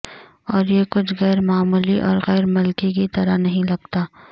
اور یہ کچھ غیر معمولی اور غیر ملکی کی طرح نہیں لگتا